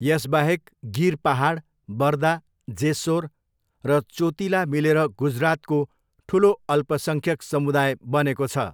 यसबाहेक गिर पाहाड, बर्दा, जेस्सोर र चोतिला मिलेर गुजरातको ठुलो अल्पसङ्ख्यक समुदाय बनेको छ।